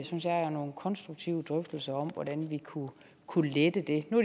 synes jeg jo nogle konstruktive drøftelser om hvordan vi kunne kunne lette det nu